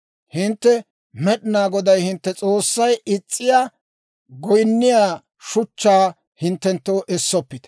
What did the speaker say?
Hintte Med'inaa Goday hintte S'oossay is's'iyaa goyinniyaa shuchchaa hinttenttoo essoppite.